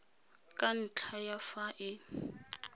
ka ntlha ya fa e